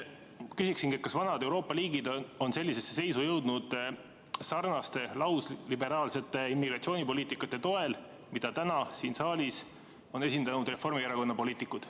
" Ma küsingi, kas vanad Euroopa riigid on sellisesse seisu jõudnud sarnase lausliberaalse immigratsioonipoliitika toel, mida täna siin saalis on esindanud Reformierakonna poliitikud.